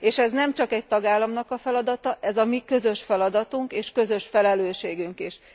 És ez nemcsak egy tagállamnak a feladata, ez a mi közös feladatunk és közös felelősségünk is.